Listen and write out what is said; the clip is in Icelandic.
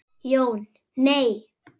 Jón: Nei.